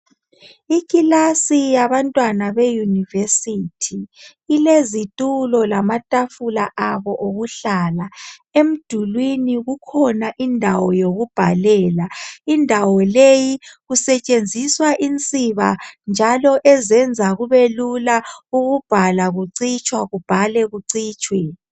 Ikilasi yabantwana be yunivesithi ilezitulo lama tafula abo okuhlala, emdulwini kukhona indawo yokubhalela, indawo leyi kusetshenziswa insiba njalo ezenza kube lula ukubhala kucitshwe kubhalwe kucitshwe.